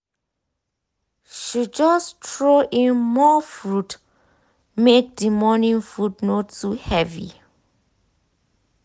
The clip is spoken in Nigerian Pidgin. she just throw in more fruit make the morning food no too heavy.